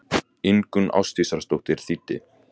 Ingunn Ásdísardóttir þýddi.